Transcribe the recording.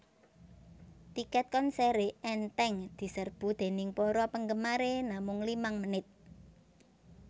Tiket konseré enteng deserbu déning para panggemare namung limang menit